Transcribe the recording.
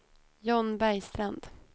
John Bergstrand